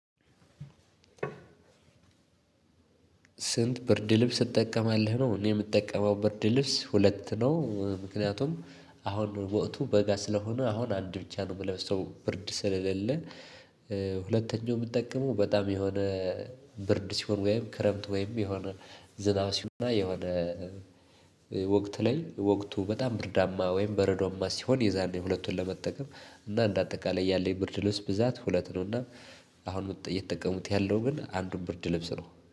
ስንት ብርድ ልብስ ትጠቀማለህ? ነው እኔ የምጠቀመው ብርድ ልብስ ሁለት ነው ምክንያቱም አሁን ወቅቱ በጋ ስለሆነ አሁን አንድ ብቻ ነው የምለብሰው ብርድ ስለለለ። ሁለተኛ የምጠቀመው የሆነ ብርድ ሲሆን ወይም ክረምት ወይም የሆነ ዝናብ ሲሆን የሆነ ወቅት ላይ ወቅቱ በጣም ብርዳማ ወይም በረዶማ ሲሆን የዛኔ ሁለቱን ለመጠቀም እና አንዳጠቃላይ ያለኝ ብርድ ልብስ ሁለት ነው። አሁን ውጤት የተጠቀሙት ያለው ግን አንዱን ብርድ ለብስ ነው